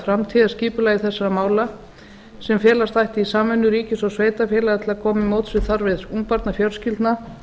framtíðarskipulagi þessara mála sem felast ætti í samvinnu ríkis og sveitarfélaga til að koma til móts við þarfir ungbarnafjölskyldna